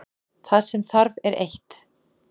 Það sem þarf er eitt.